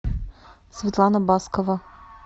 светлана баскова